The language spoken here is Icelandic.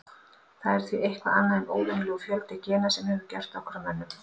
Það er því eitthvað annað en óvenjulegur fjöldi gena sem hefur gert okkur að mönnum.